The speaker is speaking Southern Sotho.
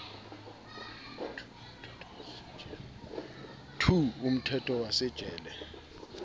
two umthetho wa se tjele